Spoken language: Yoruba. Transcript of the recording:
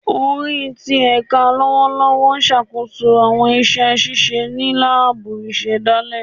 Ori ti ẹka lọwọlọwọ n ṣakoso awọn iṣẹ ṣiṣe ni laabu isedale